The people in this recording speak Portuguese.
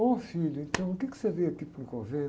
Ô filho, então o quê que você veio aqui para um convento?